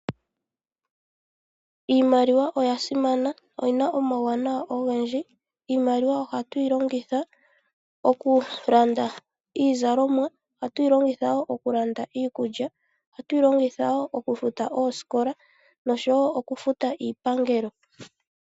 Iimaliwa oya simana, oyina omauwanawa ogendji. Iimaliwa ohatu yi longitha okulanda iizalomwa, ohatu yi longitha wo okulanda iikulya. Ohatu yi longitha wo okufuta oosikola nosho wo okufuta iipangelo.